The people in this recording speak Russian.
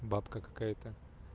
бабка какая-то